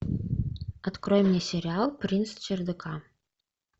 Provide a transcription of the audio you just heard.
открой мне сериал принц чердака